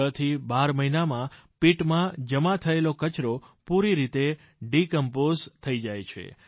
છથી બાર મહિનામાં pitમાં જમા થયેલો કચરો પૂરી રીતે ડિકમ્પોઝ થઈ જાય છે